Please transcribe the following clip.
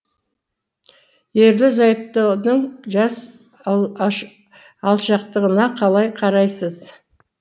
ерлі зайыптының жас алшақтығына қалай қарайсыз